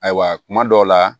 Ayiwa kuma dɔw la